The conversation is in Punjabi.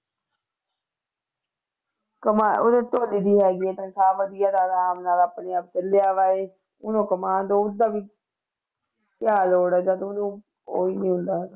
ਕਮਾ ਉਹਦੇ ਧੋਨੀ ਦੀ ਹੈਗੀ ਹੈ ਤਨਖਾਹ ਵਧੀਆ ਤੇ ਆਰਾਮ ਨਾਲ ਆਪਣੀ ਉਹਨੂੰ ਕਮਾਉਣ ਕਿਆ ਲੋੜ ਹੈ ਜਦ ਉਹਨੂੰ ਉਹੀ ਮਿਲਦਾ।